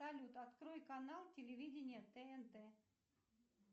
салют открой канал телевидения тнт